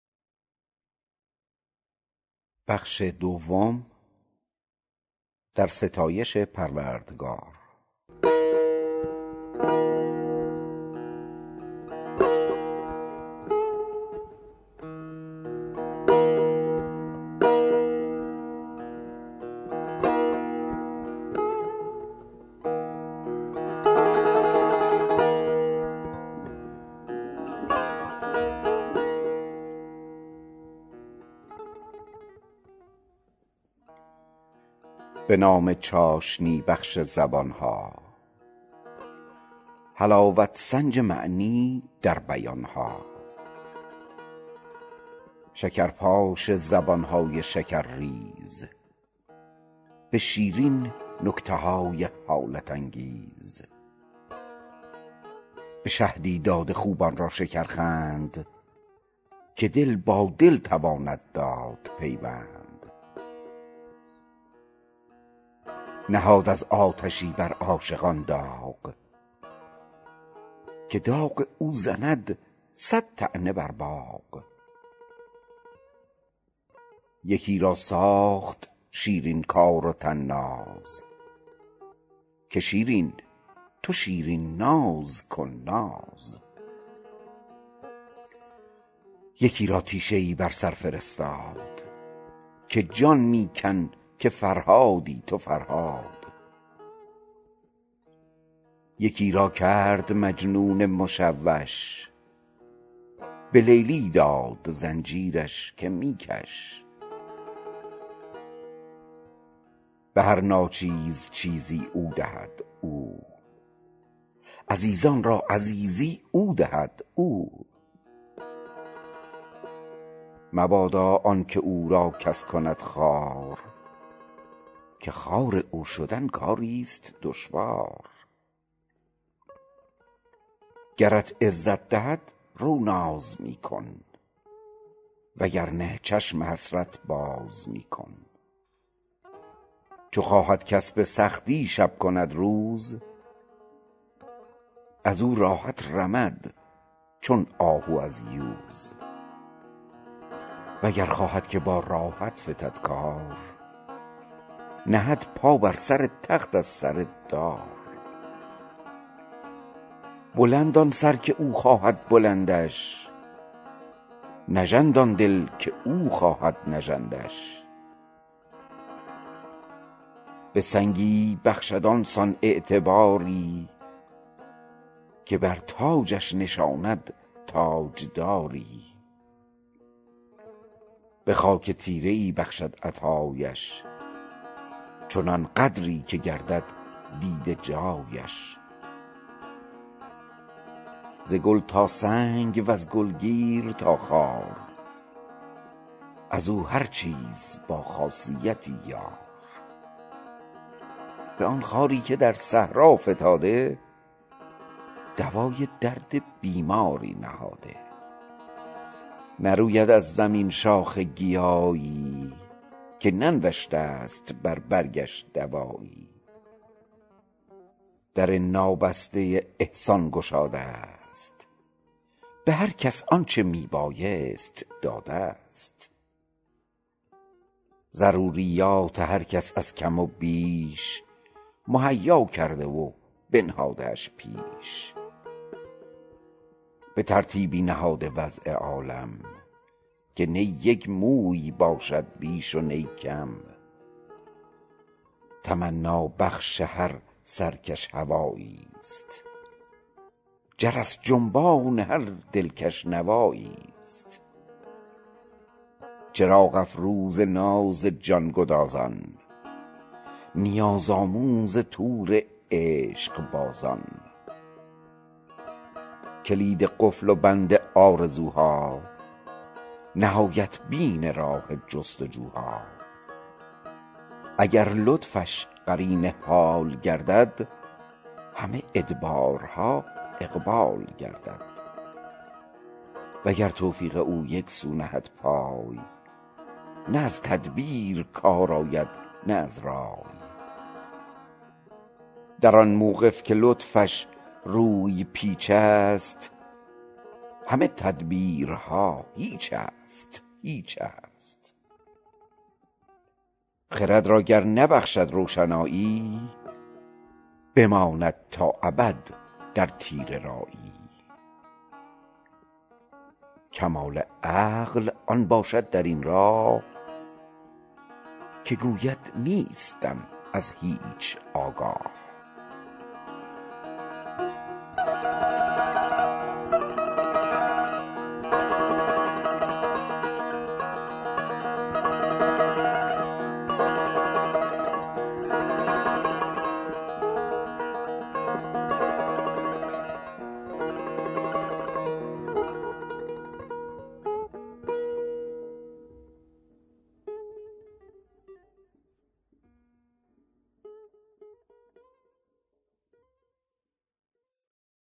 به نام چاشنی بخش زبانها حلاوت سنج معنی در بیانها شکرپاش زبانهای شکرریز به شیرین نکته های حالت انگیز به شهدی داده خوبان را شکرخند که دل با دل تواند داد پیوند نهاد از آتشی بر عاشقان داغ که داغ او زند صد طعنه بر باغ یکی را ساخت شیرین کار و طناز که شیرینی تو شیرین ناز کن ناز یکی را تیشه ای بر سر فرستاد که جان می کن که فرهادی تو فرهاد یکی را کرد مجنون مشوش به لیلی داد زنجیرش که می کش به هر ناچیز چیزی او دهد او عزیزان را عزیزی او دهد او مبادا آنکه او کس را کند خوار که خوار او شدن کاریست دشوار گرت عزت دهد رو ناز می کن و گرنه چشم حسرت باز می کن چو خواهد کس به سختی شب کند روز ازو راحت رمد چون آهو از یوز وگر خواهد که با راحت فتد کار نهد پا بر سر تخت از سر دار بلند آن سر که او خواهد بلندش نژند آن دل که او خواهد نژندش به سنگی بخشد آنسان اعتباری که بر تاجش نشاند تاجداری به خاک تیره ای بخشد عطایش چنان قدری که گردد دیده جایش ز گل تا سنگ وز گل گیر تا خار ازو هر چیز با خاصیتی یار به آن خاری که در صحرا فتاده دوای درد بیماری نهاده نروید از زمین شاخ گیایی که ننوشته ست بر برگش دوایی در نابسته احسان گشاده ست به هر کس آنچه می بایست داده ست ضروریات هر کس از کم و بیش مهیا کرده و بنهاده اش پیش به ترتیبی نهاده وضع عالم که نی یک موی باشد بیش و نی کم تمنابخش هر سرکش هواییست جرس جنبان هر دلکش نواییست چراغ افروز ناز جان گدازان نیازآموز طور عشق بازان کلید قفل و بند آرزوها نهایت بین راه جستجوها اگر لطفش قرین حال گردد همه ادبارها اقبال گردد وگر توفیق او یک سو نهد پای نه از تدبیر کار آید نه از رای در آن موقف که لطفش روی پیچست همه تدبیرها هیچست هیچست خرد را گر نبخشد روشنایی بماند تا ابد در تیره رایی کمال عقل آن باشد در این راه که گوید نیستم از هیچ آگاه